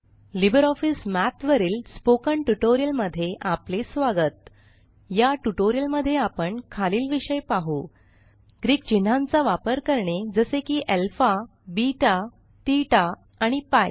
Libre office Math वरील spoken tutorial मध्ये आपले स्वागत या ट्यूटोरियल मध्ये आपण खालील विषय पाहु ग्रीक चिन्हांचा वापर करणे जसे की अल्फा बेटा ठेता आणि पीआय